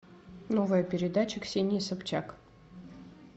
новая передача ксении собчак